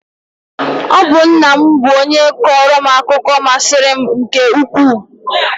Ọ bụ nna m bụ onye kọọrọ m akụkọ masịrị m nke ukwuu